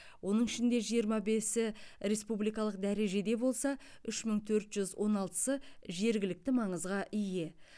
оның ішінде жиырма бесі республикалық дәрежеде болса үш мың төрт жүз он алтысы жергілікті маңызға ие